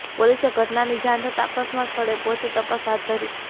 પોલીસે ઘટનાની જાણ થતા અકસ્માત સ્થળે પહોંચી તપાસ હાથ ધરી